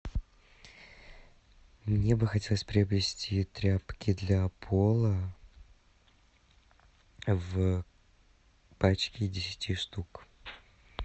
мне бы хотелось приобрести тряпки для пола в пачке десяти штук